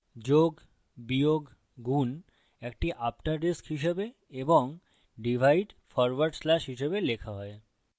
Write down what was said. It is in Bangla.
যোগ বিয়োগ গুন একটি আফ্টাররিস্ক হিসাবে এবং ডিভাইড ফরওয়ার্ড slash হিসাবে লেখা হয়